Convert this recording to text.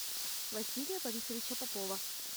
василия борисовича попова